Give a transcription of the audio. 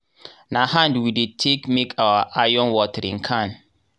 na hand we dey take make our iron watering can.